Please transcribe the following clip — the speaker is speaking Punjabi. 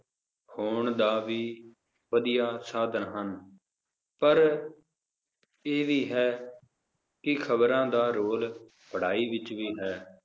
ਹੋਣ ਦਾ ਵੀ, ਵਧੀਆ ਸਾਧਨ ਹਨ ਪਰ, ਇਹ ਵੀ ਹੈ, ਕਿ ਖਬਰਾਂ ਦਾ ਰੋਲ ਪੜ੍ਹਾਈ ਵਿਚ ਵੀ ਹੈ